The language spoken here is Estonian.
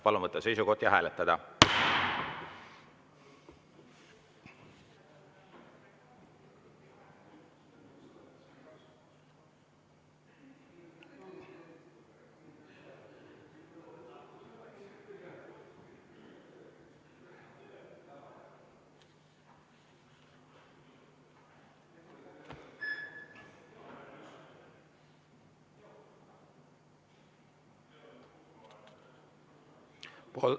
Palun võtta seisukoht ja hääletada!